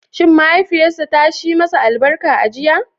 Shi mahaifiyarsa ta shi masa albarka a jiya?